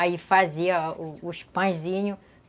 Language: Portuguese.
Aí fazia os os pãezinhos.